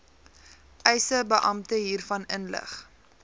eisebeampte hiervan inlig